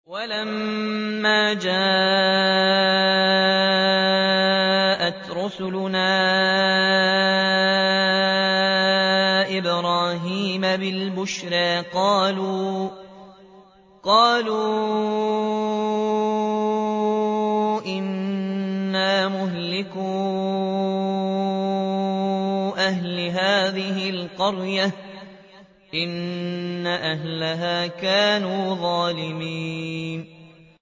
وَلَمَّا جَاءَتْ رُسُلُنَا إِبْرَاهِيمَ بِالْبُشْرَىٰ قَالُوا إِنَّا مُهْلِكُو أَهْلِ هَٰذِهِ الْقَرْيَةِ ۖ إِنَّ أَهْلَهَا كَانُوا ظَالِمِينَ